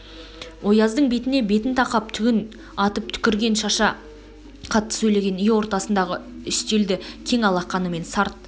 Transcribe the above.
ояздың бетіне бетін тақап түгін атып түкіргін шаша қатты сөйлеген үй ортасындағы үтелді кең алақанымен сарт